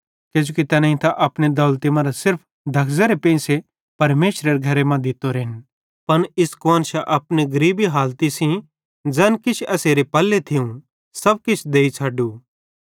किजोकि तैनेईं त अपनी दौलती मरां सिर्फ धगसेरे पेंइसे परमेशरे घरे मां दित्तोरेन पन इस कुआन्शां अपनी गरीब हालती सेइं ज़ैन किछ एसारे पल्ले थियूं सब किछ देइ छ़डू